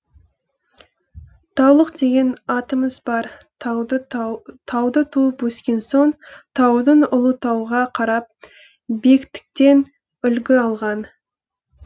таулық деген атымыз бар тауда туып өскен соң таудың ұлы тауға қарап биіктіктен үлгі алған